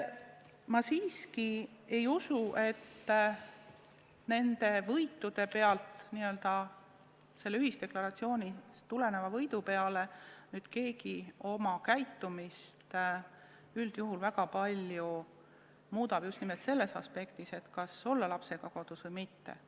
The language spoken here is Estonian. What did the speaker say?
Ma siiski ei usu, et selle ühisdeklaratsioonist tuleneva võidu tõttu keegi oma käitumist väga palju muudab just nimelt selles aspektis, kas olla lapsega kodus või mitte.